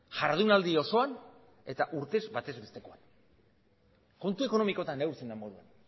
jardunaldi osoan eta urtez batez bestekoan kontu ekonomikotan neurtzen den moduan